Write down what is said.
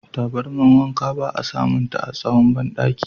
Tabarmar wanka ba a samunta a tsahon bandaki.